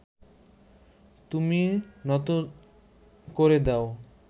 তুমি নত করে দাও